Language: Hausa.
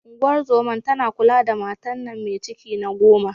Unguwar zoman tana kula da matar nan me ciki na goma.